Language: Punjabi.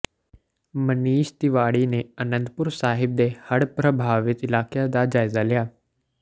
ਮਨੀਸ਼ ਤਿਵਾੜੀ ਨੇ ਅਨੰਦਪੁਰ ਸਾਹਿਬ ਦੇ ਹੜ੍ਹ ਪ੍ਰਭਾਵਿਤ ਇਲਾਕਿਆਂ ਦਾ ਜਾਇਜ਼ਾ ਲਿਆ